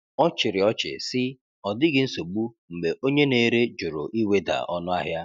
Ọ chịrị ọchị sị, “Ọ dịghị nsogbu,” mgbe onye na-ere jụrụ iweda ọnụahịa.